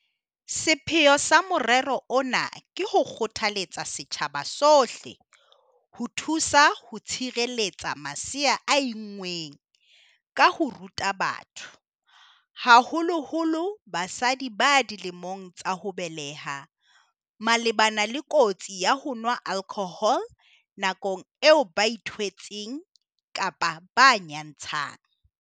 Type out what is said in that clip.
Sepheo sa morero ona ke ho kgothaletsa setjhaba sohle ho thusa ho tshireletsa masea a inngweng ka ho ruta batho, haholoholo basadi ba dilemong tsa ho beleha, malebana le kotsi ya ho nwa alkhohole nakong eo ba ithwetseng kapa ba nyantshang.